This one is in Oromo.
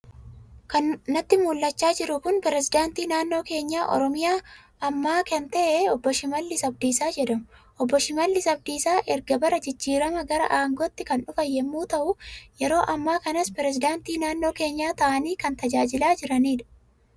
Kan natti mul'achaa jiru kun perisideentii naannoo keenyaa Oromiyaa ammaa kan ta'an Obbo shimalis Abdiisaa jedhamu. Obbo Shimalis Abdiisaa erga bara jijjiiramaa gara aangootti kan dhufan yemmuu ta'u, yeroo ammaa kanas perisidaantii naannoo kenyaa ta'anii kan tajaajilaa jiranidha.